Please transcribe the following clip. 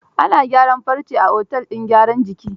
Ana gyaran farce a otel din gyaran jikin?